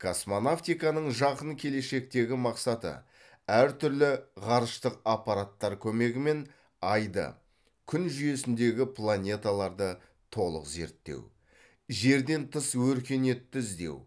космонавтиканың жақын келешектегі мақсаты әр түрлі ғарыштық аппараттар көмегімен айды күн жүйесіндегі планеталарды толық зерттеу жерден тыс өркениетті іздеу